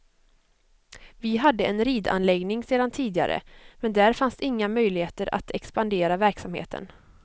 Vi hade en ridanläggning sedan tidigare, men där fanns inga möjligheter att expandera verksamheten.